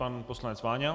Pan poslanec Váňa.